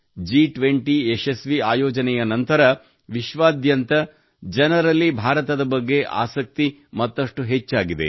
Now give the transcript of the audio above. ಜಿ20 ಯಶಸ್ವಿ ಆಯೋಜನೆಯ ನಂತರ ವಿಶ್ವಾದ್ಯಂತ ಜನರಲ್ಲಿ ಭಾರತದ ಬಗ್ಗೆ ಆಸಕ್ತಿ ಮತ್ತಷ್ಟು ಹೆಚ್ಚಾಗಿದೆ